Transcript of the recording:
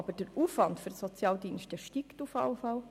Doch der Aufwand für die Sozialdienste steigt jedenfalls.